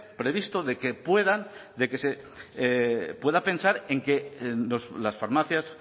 previsto de que puedan de que se pueda pensar en que las farmacias